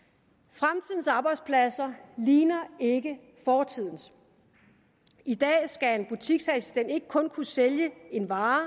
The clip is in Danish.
fremtidens arbejdspladser ligner ikke fortidens i dag skal en butiksassistent ikke kun kunne sælge en vare